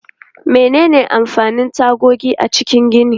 Menene amfanin tagogi a cikin gini?